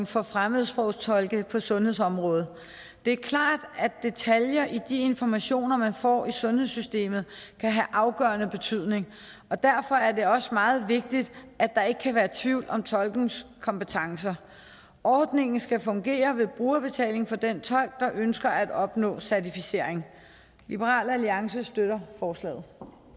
for fremmedsprogstolke på sundhedsområdet det er klart at detaljer i de informationer man får i sundhedssystemet kan have afgørende betydning og derfor er det også meget vigtigt at der ikke kan være tvivl om tolkens kompetencer ordningen skal fungere med brugerbetaling for den tolk der ønsker at opnå certificering liberal alliance støtter forslaget